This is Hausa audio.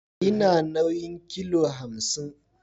Ina nauyin kilo hamsin